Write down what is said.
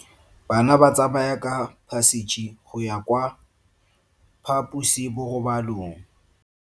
Bana ba tsamaya ka phašitshe go ya kwa phaposiborobalong.